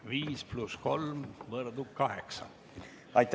Viis pluss kolm võrdub kaheksa minutit.